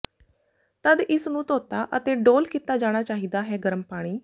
ਤਦ ਇਸ ਨੂੰ ਧੋਤਾ ਅਤੇ ਡੋਲ੍ਹ ਕੀਤਾ ਜਾਣਾ ਚਾਹੀਦਾ ਹੈ ਗਰਮ ਪਾਣੀ